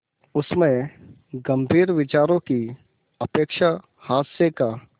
उसमें गंभीर विचारों की अपेक्षा हास्य का